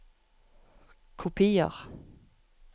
Kopier